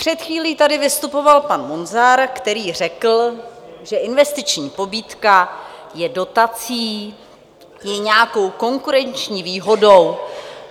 Před chvílí tady vystupoval pan Munzar, který řekl, že investiční pobídka je dotací, je nějakou konkurenční výhodou.